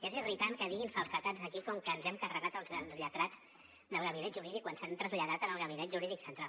és irritant que diguin falsedats aquí com que ens hem carregat els lletrats del gabinet jurídic quan s’han traslladat al gabinet jurídic central